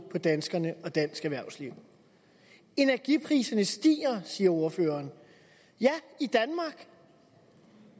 på danskerne og dansk erhvervsliv energipriserne stiger siger ordføreren ja i danmark